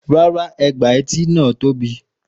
Rárá ègbà etí náà tóbi.